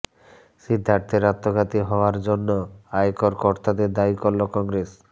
সিদ্ধার্থের আত্মঘাতী হওয়ার জন্য আয়কর কর্তাদের দায়ী করল কংগ্রেস